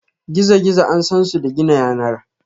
gizo-gizo an San su da gina yanar.